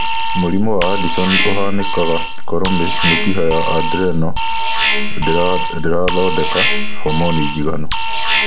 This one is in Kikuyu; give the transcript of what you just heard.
Mũrimũ wa Addison ũhanĩkaga koro mĩkiha ya adrenal ndĩrathodeka hormoni njiganu.